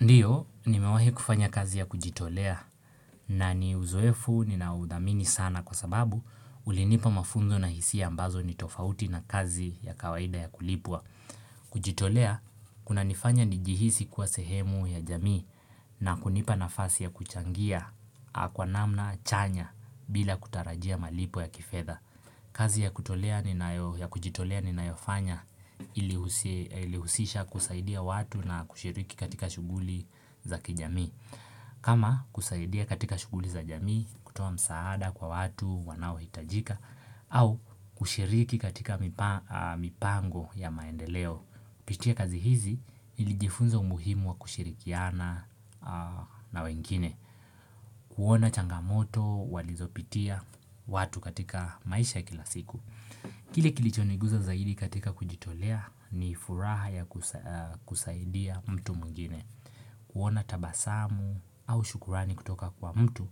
Ndiyo, nimewahi kufanya kazi ya kujitolea na ni uzoefu ninaodhamini sana kwa sababu ulinipa mafunzo na hisia ambazo ni tofauti na kazi ya kawaida ya kulipwa. Kujitolea, kunanifanya nijihisi kuwa sehemu ya jamii na kunipa nafasi ya kuchangia, kwa namna, chanya, bila kutarajia malipo ya kifedha. Kazi ya kujitolea ni na yofanya ilihusisha kusaidia watu na kushiriki katika shuguli za kijamii kama kusaidia katika shuguli za jamii, kutoa msaada kwa watu, wanaohitajika au kushiriki katika mipango ya maendeleo kupitia kazi hizi nilijifunza umuhimu wa kushirikiana na wengine kuona changamoto walizopitia watu katika maisha kilasiku Kile kilichoniguza zaidi katika kujitolea ni ifuraha ya kusaidia mtu mwingine kuona tabasamu au shukurani kutoka kwa mtu